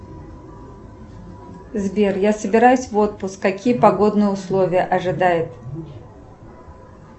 сбер я собираюсь в отпуск какие погодные условия ожидают